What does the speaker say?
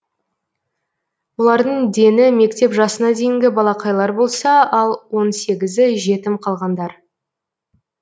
олардың дені мектеп жасына дейінгі балақайлар болса ал он сегізі жетім қалғандар